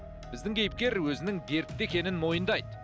біздің кейіпкер өзінің дертті екенін мойындайды